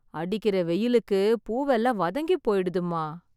அடிக்கிற வெயிலுக்கு பூவெல்லாம் வதங்கிப் போய்டுதும்மா.